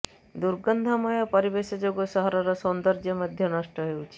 ଦୁର୍ଗନ୍ଧମୟ ପରିବେଶ ଯୋଗୁଁ ସହରର ସୌନ୍ଦଯ୍ୟ ମଧ୍ୟ ନଷ୍ଟ ହେଉଛି